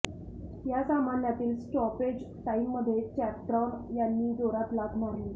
या सामन्यातील स्टॉपेज टाईममध्ये चॅप्रॉन यांनी जोरात लाथ मारली